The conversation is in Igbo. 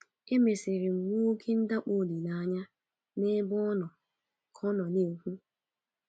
Emesịrị m nwee oké ndakpọ olileanya n’ebe ọ nọ, ka ọ na ọ na - ekwu.